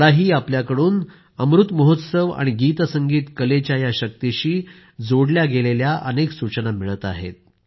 मलाही आपल्याकडून अमृत महोत्सव आणि गीत संगीत कलेच्या या शक्तिशी जोडले गेलेले अनेक सूचना मिळत आहेत